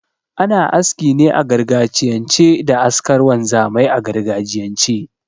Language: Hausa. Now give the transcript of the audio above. Ana aski ne a gargajiyance da askar wanzamai a gargajiyance